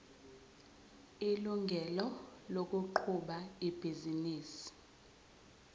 ilungelo lokuqhuba ibhizinisi